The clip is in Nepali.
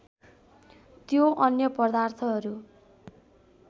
त्यो अन्य पदार्थहरू